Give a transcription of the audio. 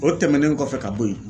O tɛmɛnen kɔfɛ ka bo ye